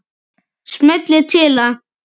Smellið til að